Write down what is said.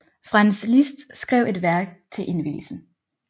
Franz Liszt skrev et værk til indvielsen